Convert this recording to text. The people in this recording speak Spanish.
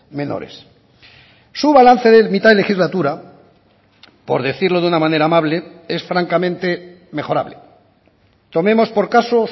menores su balance de mitad de legislatura por decirlo de una manera amable es francamente mejorable tomemos por caso